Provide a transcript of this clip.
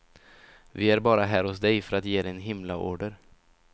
Vi är bara här hos dig för att ge dig en himlaorder.